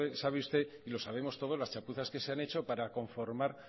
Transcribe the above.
sabe usted y lo sabemos todos las chapuzas que se han hecho para conformar